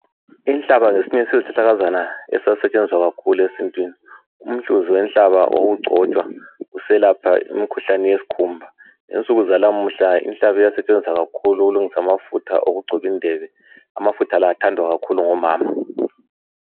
Inhlaba ngesinye sezihlahlakazana esasisetshenziswa kakhulu esintwini umhluzi wenhlaba wawugcotshwa uselapha imikhuhlane yesikhumba ngensuku zanamuhla inhlaba iyasetshenziswa kakhulu ukulungisa amafutha okugcoba indebe amafutha la athandwa kakhulu ngomama.